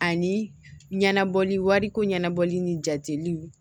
Ani ɲɛnabɔli wariko ɲɛnabɔli ni jatiliw